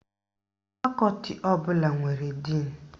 Fakọti ọbụla nwere díìnu